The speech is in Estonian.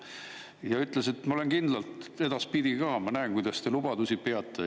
Ja ütles, et ma olen kindlalt edaspidi ka, ma näen, kuidas te lubadusi peate.